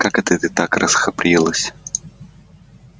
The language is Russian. как это ты так расхабрилась